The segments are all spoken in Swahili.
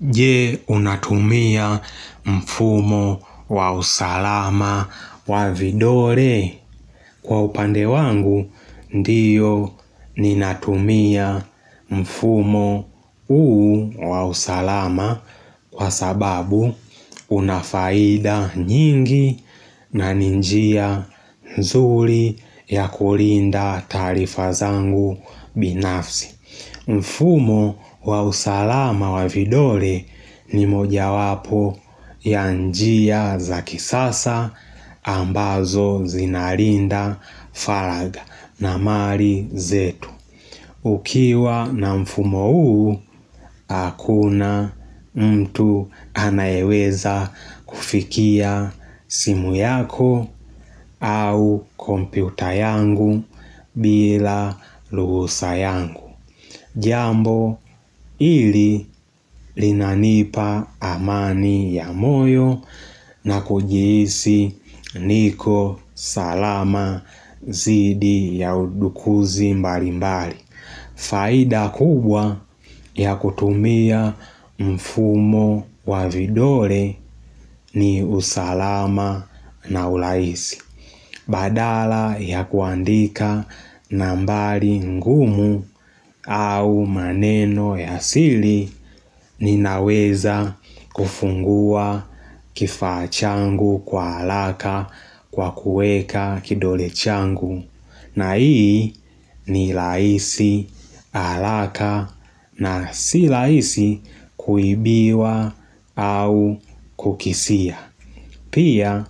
Je unatumia mfumo wa usalama wa vidole kwa upande wangu ndiyo ninatumia mfumo huu wa usalama kwa sababu unafaida nyingi na ni njia nzuri ya kulinda taarifa zangu binafsi. Mfumo wa usalama wa vidole ni moja wapo yanjia za kisasa ambazo zinarinda falaga na mali zetu. Ukiwa na mfumo uu, hakuna mtu anayeweza kufikia simu yako au komputa yangu bila ruhusa yangu. Jambo ili linanipa amani ya moyo na kujihisi niko salama zidi ya udukuzi mbali mbali. Faida kubwa ya kutumia mfumo wa vidole ni usalama na uraisi. Badala ya kuandika nambari ngumu au maneno ya sili ninaweza kufungua kifaa changu kwa alaka kwa kuweka kidole changu. Na ii ni rahisi haraka na sirahisi kuibiwa au kukisia. Pia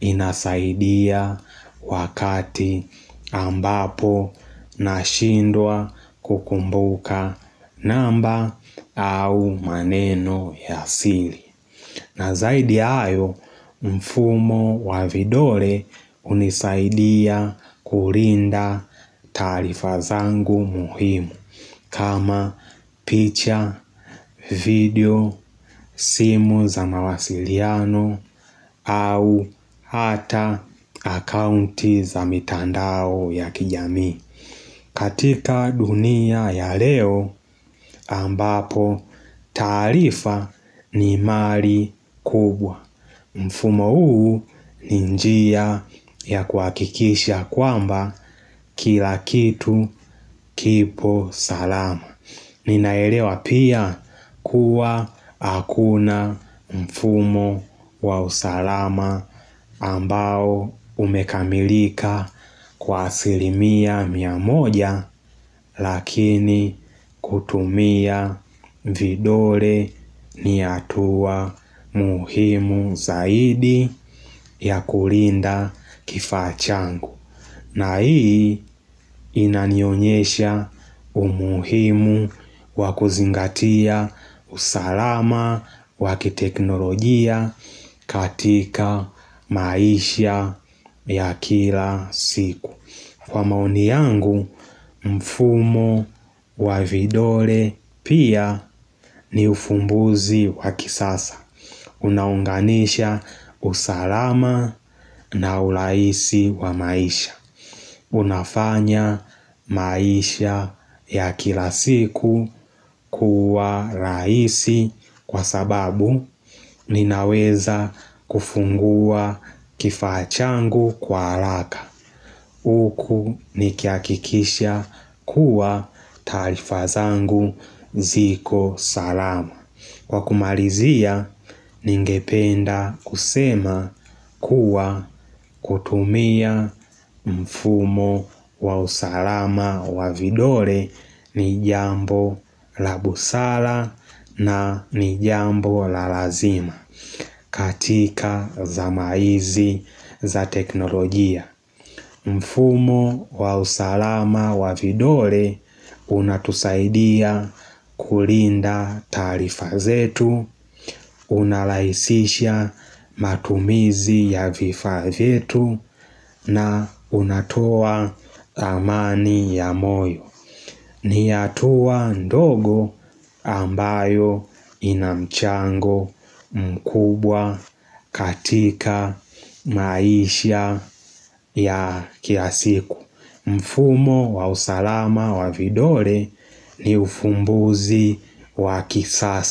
inasaidia wakati ambapo nashindwa kukumbuka namba au maneno ya sili. Na zaidi ya hayo mfumo wa vidole unisaidia kulinda tarifa zangu muhimu kama picha, video, simu za mawasiliano au hata akaunti za mitandao ya kijami. Katika dunia ya leo ambapo tarifa ni mali kubwa. Mfumo huu ni njia ya kuhakikisha kwamba kilakitu kipo salama. Ninaelewa pia kuwa hakuna mfumo wa usalama ambao umekamilika kwa asilimia mia moja lakini kutumia vidole ni atua muhimu zaidi ya kulinda kifaa changu. Na hii inanionyesha umuhimu wakuzingatia usalama wakiteknologia katika maisha ya kila siku Kwa maoni yangu mfumo wa vidole pia ni ufumbuzi wakisasa Unaunganisha usalama na urahisi wa maisha Unafanya maisha ya kilasiku kuwa rahisi kwa sababu ninaweza kufungua kifaachangu kwa haraka. Huku niki hakikisha kuwa taarifa zangu ziko salama. Wakumalizia ningependa kusema kuwa kutumia mfumo wa usalama wa vidole ni jambo la busala na ni jambo la lazima katika zama hizi za teknolojia. Mfumo wa usalama wa vidole unatusaidia kulinda tarifa zetu, unalaisisha matumizi ya vifa zetu na unatoa amani ya moyo. Ni hatua ndogo ambayo inamchango mkubwa katika maisha ya kilasiku. Mfumo wa usalama wa vidore ni ufumbuzi wa kisasa.